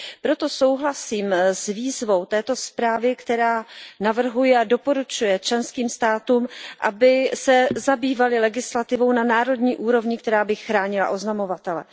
Proto souhlasím s výzvou této zprávy, která navrhuje a doporučuje členským státům, aby se zabývaly legislativou na národní úrovni, která by chránila oznamovatele.